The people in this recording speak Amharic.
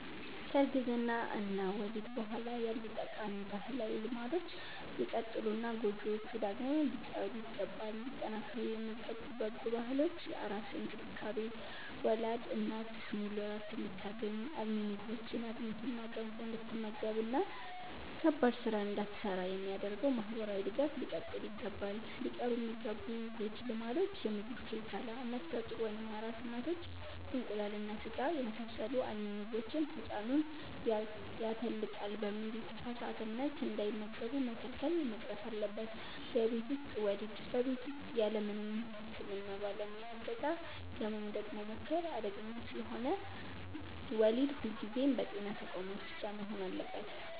ከእርግዝና እና ወሊድ በኋላ ያሉ ጠቃሚ ባህላዊ ልማዶች ሊቀጥሉና ጎጂዎቹ ደግሞ ሊቀሩ ይገባል። ሊጠናከሩ የሚገቡ በጎ ባህሎች፦ የአራስ እንክብካቤ፦ ወላድ እናት ሙሉ ዕረፍት እንድታገኝ፣ አልሚ ምግቦችን (አጥሚትና ገንፎ) እንድትመገብና ከባድ ሥራ እንዳትሠራ የሚደረገው ማኅበራዊ ድጋፍ ሊቀጥል ይገባል። ሊቀሩ የሚገቡ ጎጂ ልማዶች፦ የምግብ ክልከላ፦ ነፍሰ ጡር ወይም አራስ እናቶች እንቁላልና ሥጋን የመሳሰሉ አልሚ ምግቦችን «ሕፃኑን ያተልቃል» በሚል የተሳሳተ እምነት እንዳይመገቡ መከልከል መቅረት አለበት። የቤት ውስጥ ወሊድ፦ በቤት ውስጥ ያለምንም የሕክምና ባለሙያ ዕገዛ ለመውለድ መሞከር አደገኛ ስለሆነ፣ ወሊድ ሁልጊዜም በጤና ተቋማት ብቻ መሆን አለበት።